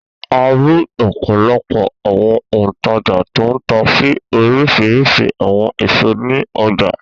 A rí ọ̀pọ̀lọpọ̀ àwọn òǹtajà tó ń ta oríṣiríṣi àwọn èso ní ọjà.